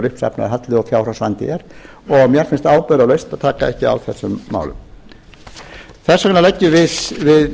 uppsafnaður halli og fjárhagsvandi er og mér finnst ábyrgðarlaust að taka ekki á þessum málum þess vegna leggjum